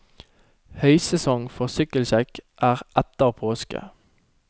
Høysesong for sykkelsjekk er etter påske.